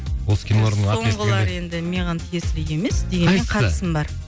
осы кинолардың атын естігенде соңғылар енді маған тиесілі емес дегенмен қатысым бар